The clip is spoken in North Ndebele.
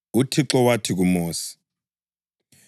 UThixo wathi kuMosi,